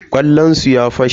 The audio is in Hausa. ƙwallonsu ya fashe.